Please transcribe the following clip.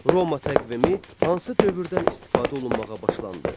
Roma təqvimi hansı dövrdən istifadə olunmağa başlandı?